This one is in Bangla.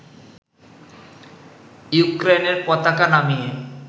ইউক্রেইনের পতাকা নামিয়ে